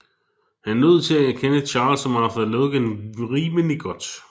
Han lod til at kende Charles og Martha Logan rimelig godt